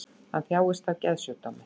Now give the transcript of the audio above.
Hann þjáist af geðsjúkdómi